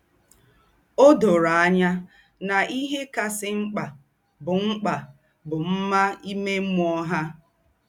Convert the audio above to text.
Ó dórò ànyá nà íhè kásị̀ m̀kpà bụ́ m̀kpà bụ́ mmá ìmè mmụ́ọ́ há.